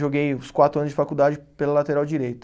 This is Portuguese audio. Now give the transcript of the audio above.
Joguei os quatro anos de faculdade pela lateral direita.